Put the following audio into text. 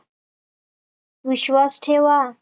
विश्वास ठेवा